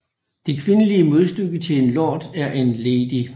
Det kvindelige modstykke til en lord er en lady